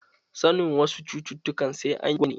Sanin wasu cututtukan sai an yi gwajin jini.